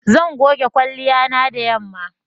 Zan goge kwalliya na da yanma.